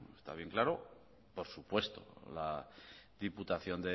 está bien claro por supuesto la diputación